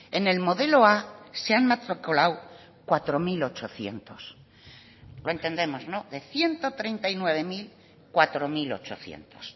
en el modelo a se han matriculado cuatro mil ochocientos lo entendemos no de ciento treinta y nueve mil cuatro mil ochocientos